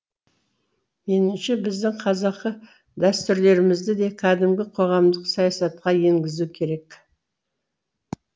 меніңше біздің қазақы дәстүрлерімізді де кәдімгі қоғамдық саясатқа енгізу керек